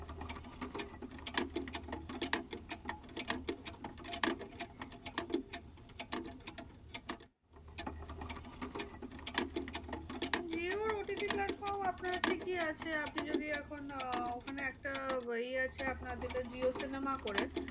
jio OTT platform আপনার ঠিকই আছে। আপনি যদি এখন আহ ওখানে একটা ইয়ে আছে আপনার যেটা jio sinema করে।